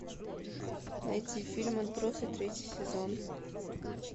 найти фильм отбросы третий сезон